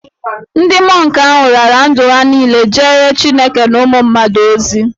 Ndị mọnk ahụ raara ndụ ha niile jeere Chineke na ụmụ mmadụ ozi.